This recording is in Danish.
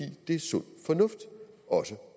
det er sund fornuft også